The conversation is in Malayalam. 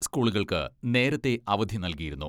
സ്കൂളുകൾക്ക് നേരത്തെ അവധി നൽകിയിരുന്നു.